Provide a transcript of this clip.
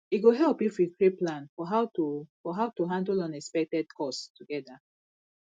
e go help if we create plan for how to for how to handle unexpected costs together